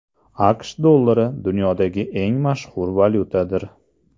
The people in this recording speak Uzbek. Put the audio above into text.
AQSh dollari dunyodagi eng mashhur valyutadir.